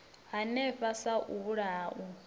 hanefho sa u vhulaha u